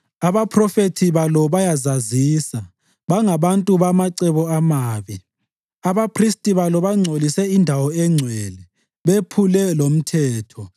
Abaphrofethi balo bayazazisa; bangabantu bamacebo amabi. Abaphristi balo bangcolisa indawo engcwele bephule lomthetho.